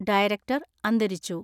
Director അന്തരിച്ചു.